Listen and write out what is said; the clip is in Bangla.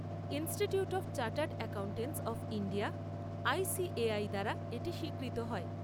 Institute of chartered accountants of India, ICAI দ্বারা এটি স্বীকৃত হয়।